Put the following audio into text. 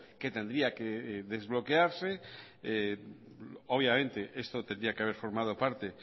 que tendría que desbloquearse obviamente esto tendría que haber formado parte